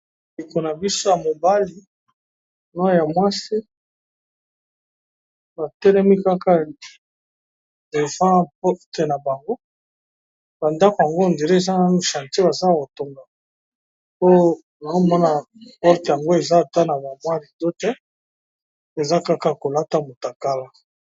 Ndeko nabiso ya mobali pe na mwasi batelemi Kaka devant porté nabango na ndako ondire eza nanu chantier bazo kotonga po naomona porte yango eza na ba rideau te eza Kaka yakolata mutakala.